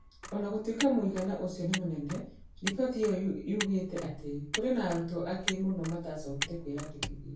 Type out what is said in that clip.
O na gũtuĩka mũigana ũcio nĩ mũnene, riboti ĩyo yoigĩte atĩ kũrĩ na arutwo aingĩ mũno matacokire kwĩyandĩkithia.